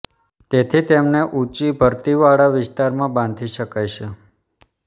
તેથી તેમને ઊંચી ભરતીવાળા વિસ્તારમાં બાંધી શકાય છે